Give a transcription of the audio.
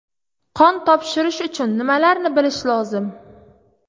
Qon topshirish uchun nimalarni bilish lozim?